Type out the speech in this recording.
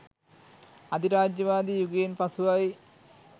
අධිරාජ්‍යවාදී යුගයෙන් පසුවයි.